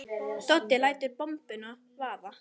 Doddi lætur bombuna vaða.